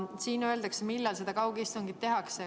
Siin öeldakse, millal kaugistung tehakse.